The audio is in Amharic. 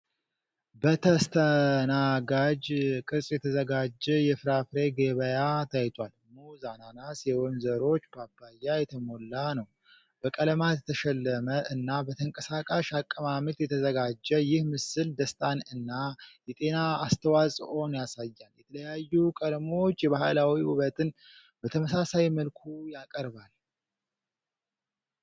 በተስተናጋጅ ቅርጽ የተዘጋጀ የፍራፍሬ ገበያ ታይቷል። ሙዝ፣ አናናስ፣ የወይን ዘሮች፣ ፓፓያ፣ የተሞላ ነው። በቀለማት የተሸለመ እና በተንቀሳቃሽ አቀማመጥ የተዘጋጀ ይህ ምስል ደስታን እና የጤና አስተዋፅኦን ያሳያል። የተለያዩ ቀለሞች የባህላዊ ውበትን በተመሳሳይ መልኩ ያቀርባል።